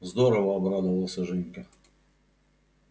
здорово обрадовался женька